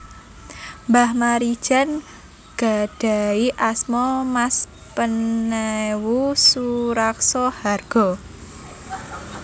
Mbah Maridjan gadhahi asma Mas Penewu Suraksohargo